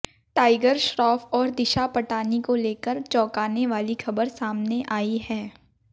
tiger Shroff और दिशा पटानी को लेकर चौंकाने वाली खबर सामने आई है